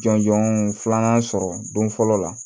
Jɔnjɔn filanan sɔrɔ don fɔlɔ la